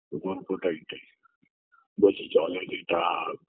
গল্পটা এটাই বলছে জলে নেতা